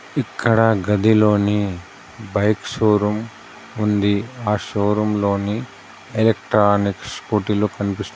ఇక్కడ గదిలోని bike showroom ఉంది. ఆ షోరూంలోని ఎలక్ట్రానిక్ స్కూటీలు కన్పిస్తున్నాయి.